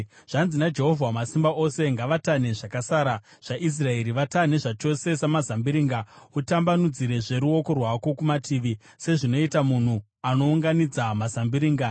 Zvanzi naJehovha Wamasimba Ose: “Ngavatanhe zvakasara zvaIsraeri vatanhe zvachose samazambiringa; utambanudzirezve ruoko rwako kumatavi, sezvinoita munhu anounganidza mazambiringa.”